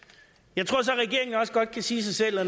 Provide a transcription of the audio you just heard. jeg tror så regeringen også godt kan sige sig selv at